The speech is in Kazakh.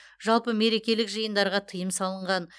жалпы мерекелік жиындарға тыйым салынған